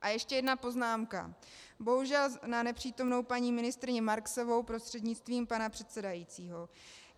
A ještě jedna poznámka, bohužel na nepřítomnou paní ministryni Marksovou, prostřednictvím pana předsedajícího.